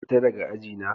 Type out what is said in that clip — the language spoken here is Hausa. Fita daga aji na!